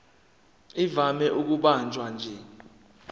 ivame ukubanjwa nje